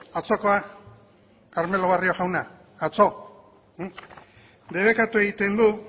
carmelo barrio jauna debekatu egiten du